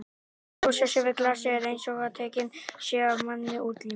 að losa sig við glasið er einsog að tekinn sé af manni útlimur.